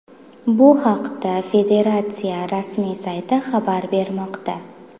Bu haqda federatsiya rasmiy sayti xabar bermoqda .